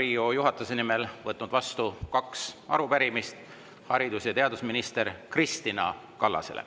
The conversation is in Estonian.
Olen Riigikogu juhatuse nimel võtnud vastu kaks arupärimist haridus- ja teadusminister Kristina Kallasele.